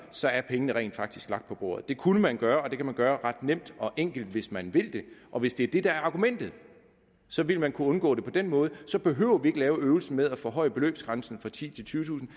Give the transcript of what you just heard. så er pengene rent faktisk blevet lagt på bordet det kunne man gøre og det kan man gøre ret nemt og enkelt hvis man vil det og hvis det er det der er argumentet så ville man kunne undgå det på den måde så behøvede vi ikke lave øvelsen med at forhøje beløbsgrænsen fra titusind